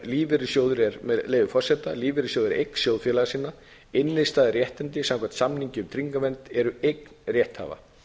lífeyrissjóður er eign sjóðfélaga sinna innstæða eða réttindi samkvæmt samningi um tryggingavernd eru eign rétthafa